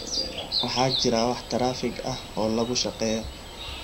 waxaa jira wax taraafig ah oo lagu shaqeeyo